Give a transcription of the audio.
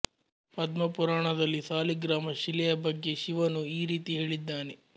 ಪದ್ಮಪುರಾಣದಲ್ಲಿ ಸಾಲಿಗ್ರಾಮ ಶಿಲೆಯ ಬಗ್ಗೆ ಶಿವನು ಈ ರೀತಿ ಹೇಳಿದ್ದಾನೆ